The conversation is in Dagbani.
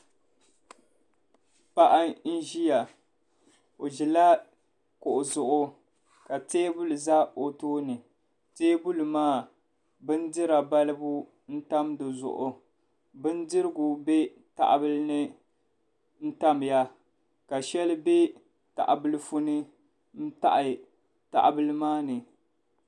Paɣi n zaya o dila kuɣu zuɣu ka tɛɛbuli za o tooni tɛɛbuli maa bin dira balibu n tam di zuɣu bin dirigu bɛ taha bili ni n tam ya ka shɛli bɛ tahi bilifu ni taɣi tahi bili maa ni.